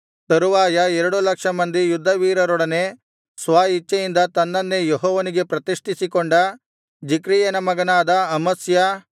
ತರುವಾಯ ಎರಡು ಲಕ್ಷ ಮಂದಿ ಯುದ್ಧವೀರರೊಡನೆ ಸ್ವಇಚ್ಛೆಯಿಂದ ತನ್ನನ್ನೇ ಯೆಹೋವನಿಗೆ ಪ್ರತಿಷ್ಠಿಸಿಕೊಂಡ ಜಿಕ್ರಿಯನ ಮಗನಾದ ಅಮಸ್ಯ